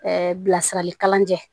bilasiralikalanjɛ